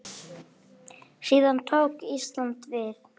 Síðan tók Ísland við.